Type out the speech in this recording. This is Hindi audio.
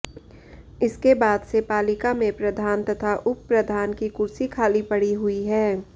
इसके बाद से पालिका में प्रधान तथा उपप्रधान की कुर्सी खाली पड़ी हुई है